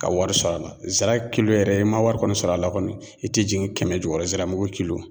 Ka wari sɔrɔ a la zira yɛrɛ i man wari kɔni sɔrɔ a la kɔni i tɛ jigin kɛmɛ jukɔrɔ ziramugu